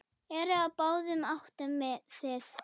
Eru á báðum áttum þið.